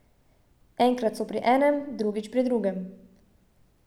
Enkrat so pri enem, drugič pri drugem.